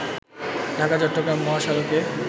ঢাকা- চট্রগ্রাম মহাসড়কে